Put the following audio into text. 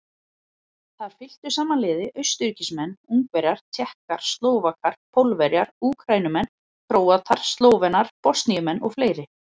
Þar fylktu saman liði Austurríkismenn, Ungverjar, Tékkar, Slóvakar, Pólverjar, Úkraínumenn, Króatar, Slóvenar, Bosníumenn og fleiri.